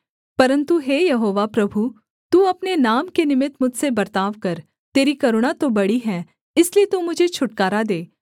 परन्तु हे यहोवा प्रभु तू अपने नाम के निमित्त मुझसे बर्ताव कर तेरी करुणा तो बड़ी है इसलिए तू मुझे छुटकारा दे